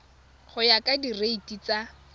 go ya ka direiti tsa